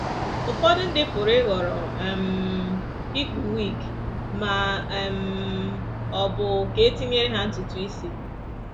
Ụfọdụ ndị pụrụ ịhọrọ um ikpu wig ma um ọ bụ ka e tinyere ha ntutu isi.